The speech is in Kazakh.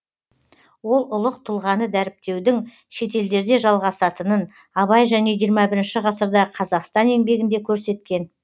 ол ұлық тұлғаны дәріптеудің шетелдерде жалғасатынын абай және жиырма бірінші ғасырдағы қазақстан еңбегінде көрсеткен